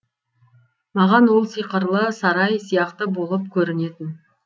маған ол сиқырлы сарай сияқты болын көрінетін